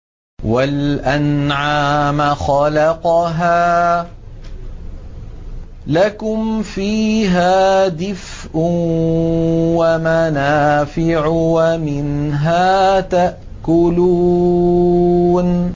وَالْأَنْعَامَ خَلَقَهَا ۗ لَكُمْ فِيهَا دِفْءٌ وَمَنَافِعُ وَمِنْهَا تَأْكُلُونَ